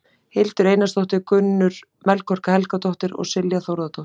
Hildur Einarsdóttir, Gunnur Melkorka Helgadóttir og Silja Þórðardóttir.